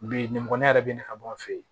Bi nin kɔni ne yɛrɛ bɛ ne ka bɔ an fɛ yen